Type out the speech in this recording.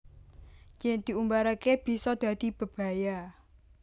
Yen diumbarake bisa dadi bebaya